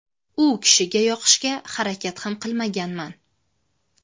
U kishiga yoqishga harakat ham qilmaganman.